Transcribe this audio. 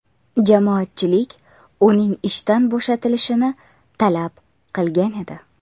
Jamoatchilik uning ishdan bo‘shatilishini talab qilgan edi .